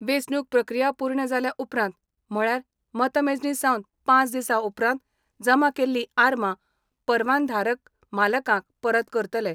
वेंचणूक प्रक्रिया पूर्ण जालें उपरांत म्हळयार मतमेजणी सावन पाच दिसा उपरांत जमा केल्ली आर्मां परवानाधारक मालकांक परत करतले.